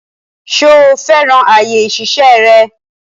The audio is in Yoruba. Ṣo fẹ́ràn àyè ìṣiṣẹ́ rẹ?